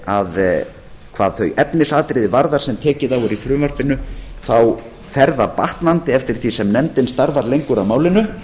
að hvað þau efnisatriði varðar sem tekið er á í frumvarpinu fer það batnandi eftir því sem nefndin starfar lengur að málinu